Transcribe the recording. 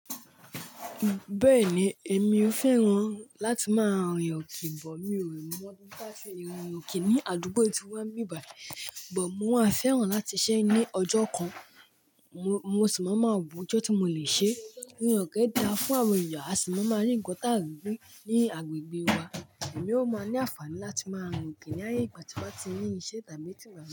Bẹ́ẹ̀ni, èmi fẹ́ràn láti máa rin òkè but, mi ò mọ bí ta ṣe le rín irin òkè ní àdúgbò tí wa nbíbai. But mò máa fẹ́ràn láti ṣe ní ọjọ́ kan. Mo, mo sì máa máa wo ọjọ́ tí mo lè ṣe. Ìrìn òkè dáa fún àwọn ìyá, a sì máa máa rí nǹkan táàrí rí ní agbègbè wa. Èmi ó máa ní àfààní láti máa rin òkè láì pátápátá ní isẹ́ tàbí tí mo bá.